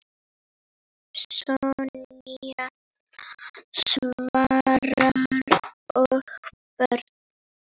Sonja, Svavar og börn.